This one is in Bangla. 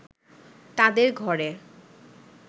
তাদের ঘরে